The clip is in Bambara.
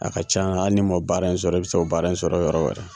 A ka can la hali n'i man baara in sɔrɔ i bɛ se baara in sɔrɔ yɔrɔ wɛrɛ.